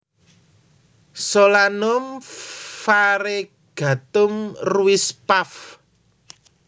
Solanum variegatum Ruiz Pav